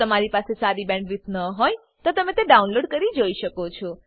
જો તમારી પાસે સારી બેન્ડવિડ્થ ન હોય તો તમે વિડીયો ડાઉનલોડ કરીને જોઈ શકો છો